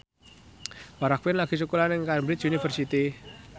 Farah Quinn lagi sekolah nang Cambridge University